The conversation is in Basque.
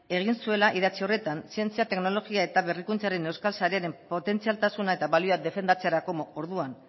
egin zuela idatzi horretan zientzia teknologia eta berrikuntzaren euskal sarearen potentzialtasuna eta balioak defendatzerako orduan